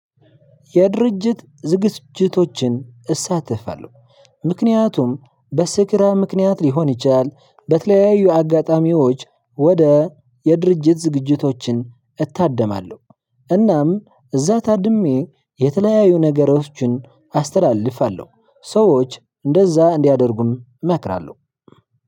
የድርጅት ዝግጅቶችን እሳተፋለሁ ምክንያቱም በስራ ምክንያት ሊሆን ይችላል በተለያዩ አጋጣሚዎች ወደ የድርጅት ዝግጅቶችን እታደማለሁ እናም እዛ ታድሜ የተለያዩ ነገሮችን አስተላልፋለሁ። ሰዎች እንደዛ እንዲያደርጉም እመክራለሁ።